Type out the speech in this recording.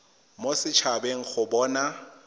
mo set habeng go bona